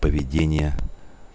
поведение